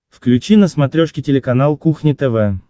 включи на смотрешке телеканал кухня тв